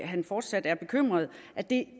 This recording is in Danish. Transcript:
han fortsat er bekymret at det